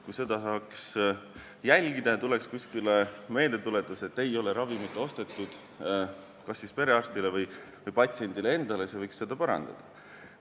Kui seda saaks jälgida – selle kohta tuleks kuskile meeldetuletus kas siis perearstile või patsiendile endale, et ei ole ravimit ostetud –, siis see võiks inimest parandada.